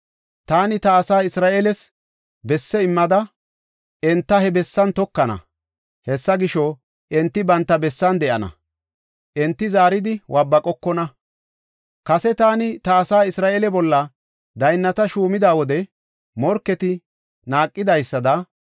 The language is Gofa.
Taani ta asaa Isra7eeles besse immada, enta he bessan tokana. Hessa gisho, enti banta bessan de7ana; enti zaaridi waabaqokona. Kase taani ta asaa Isra7eele bolla daynnata shuumada wode morketi naaqidaysada,